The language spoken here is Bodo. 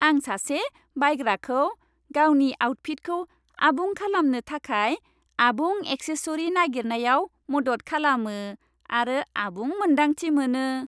आं सासे बायग्राखौ गावनि आउटफिटखौ आबुं खालामनो थाखाय आबुं एक्सेसरी नागिरनायाव मदद खालामो, आरो आबुं मोन्दांथि मोनो।